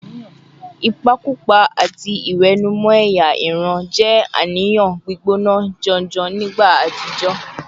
Ìpakúpa àti ìwẹ̀nùmọ́ ẹ̀yà ìran jẹ́ àníyàn gbígbóná janjan nígbà àtijọ́